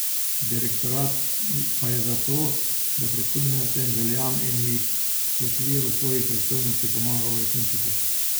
Direktorat pa je za to, da prisluhne tem željam in jih v okviru svojih pristojnosti pomaga uresničiti.